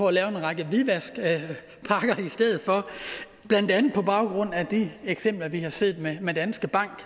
at lave en række hvidvaskpakker i stedet for blandt andet på baggrund af de eksempler vi har set med danske bank